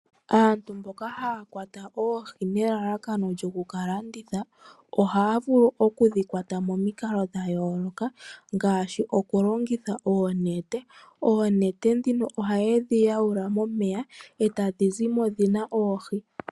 Aantu mboka haya kwata oohi nelalakano lyokukalanditha, ohaya vulu oku dhi kwata momikalo dhayoloka ngaashi okulongitha oonete. Oonete dhino ohaye dhi yuula mo momeya, etadhi zimo dhina oohi.